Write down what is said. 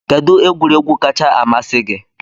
Kedụ egwuregwu kacha amasị gị?